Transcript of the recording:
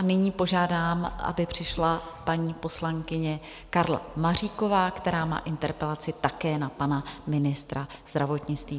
A nyní požádám, aby přišla paní poslankyně Karla Maříková, která má interpelaci také na pana ministra zdravotnictví.